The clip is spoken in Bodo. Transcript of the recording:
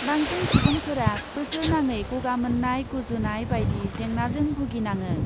बांसिन सुबुंफोरा बोसोरनाङै गगा मोन्नाय, गुजुनाय बायदि जेंनाजों भुगिनाङो।